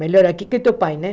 Melhor aqui que teu pai, né?